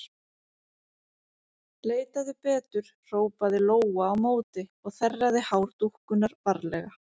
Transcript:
Leitaðu betur, hrópaði Lóa á móti og þerraði hár dúkkunnar varlega.